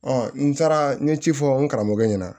n taara n ye ci fɔ n karamɔgɔ ɲɛna